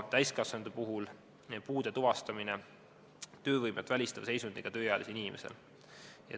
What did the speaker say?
Täiskasvanute puhul on oluline puude tuvastamine töövõimet välistava seisundiga tööealisel inimesel.